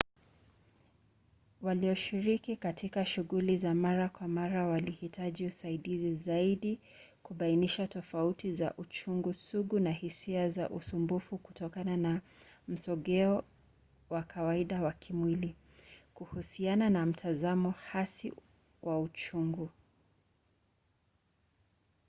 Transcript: walioshiriki katika shughuli za mara kwa mara walihitaji usaidizi zaidi kubainisha tofauti za uchungu sugu na hisia za usumbufu kutokana na msogeo wa kawaida wa kimwili kuhusiana na mtazamo hasi wa uchungu